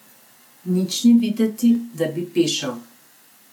Nič ni videti, da bi pešal.